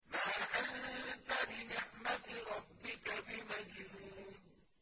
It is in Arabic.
مَا أَنتَ بِنِعْمَةِ رَبِّكَ بِمَجْنُونٍ